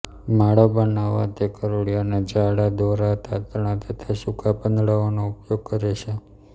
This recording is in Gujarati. માળો બનાવવા તે કરોળિયાના જાળા દોરા તાંતણા તથા સૂકા પાંદડાંઓનો ઉપયોગ કરે છે